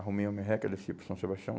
Arrumei uma merreca e desci para São Sebastião.